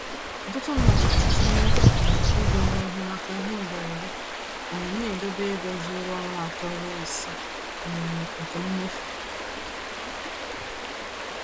Ọtụtụ mmadụ na-etinye um ego n’ihu maka ihe mberede, um na-edobe ego zuru ọnwa atọ ruo isii um nke mmefu.